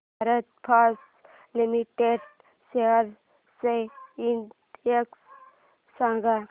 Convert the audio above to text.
Bharat Forge limited shares चा index सांगा